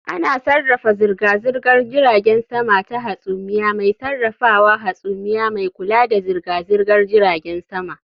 Ana sarrafa zirga-zirgar jiragen sama ta hasumiya mai sarrafawa hasumiya mai kula da zirga-zirgar jiragen sama